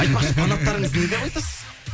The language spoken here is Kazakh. айтпақшы фанаттарыңызды не деп айтасыз